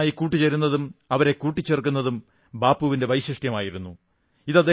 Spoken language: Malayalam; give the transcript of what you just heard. ആളുകളുമായി കൂട്ടുചേരുന്നതും അവരെ കൂട്ടിച്ചേർക്കുന്നതും ബാപ്പുവിന്റെ വൈശിഷ്ട്യമായിരുന്നു